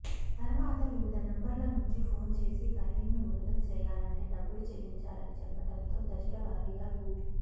తర్వాత వివిధ నంబర్ల నుంచి ఫోన్ చేసి కరీంను విడుదల చేయాలంటే డబ్బులు చెల్లించాలని చెప్పడంతో దశలవారీగా రూ